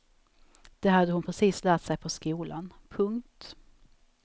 Det hade hon precis lärt sig på skolan. punkt